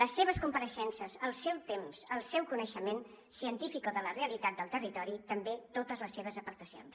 les seves compareixences el seu temps el seu coneixement científic o de la realitat del territori i també totes les seves aportacions